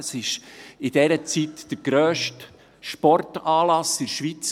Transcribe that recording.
Es war in dieser Zeit der grösste Sportanlass in der Schweiz.